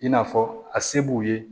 I n'a fɔ a se b'u ye